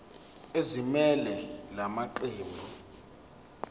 ezimelele la maqembu